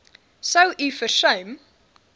sou u versuim